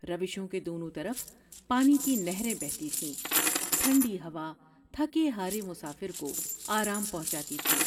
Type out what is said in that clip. روشوں کے دونوں طرف پانی کی نہریں بہتی تھیں ۔ٹھنڈی ہوا تھکے ہارے مسافر کو آرام پہنچاتی تھی ۔